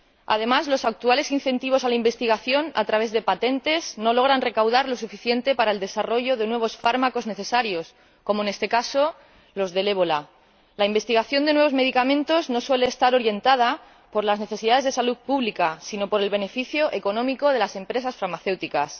Además, los actuales incentivos a la investigación a través de patentes no logran recaudar lo suficiente para el desarrollo de nuevos fármacos necesarios, como en este caso los del ébola. La investigación de nuevos medicamentos no suele estar orientada por las necesidades de salud pública, sino por el beneficio económico de las empresas farmacéuticas.